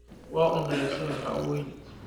Waa un resee maxaa uu ooyni.